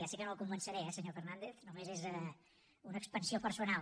ja sé que no el convenceré eh senyor fernàndez només és una expansió personal